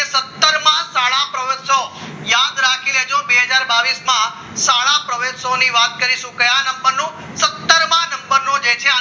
ના પ્રવત્સવ યાદ રાખી લેજો બે હજાર બાવીસ માં સાડા પ્રવેશતાઓ વાત કરીશું કયા નંબરનો સત્તર માં નંબરનું જે છે